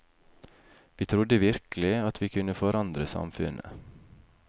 Vi trodde virkelig at vi kunne forandre samfunnet.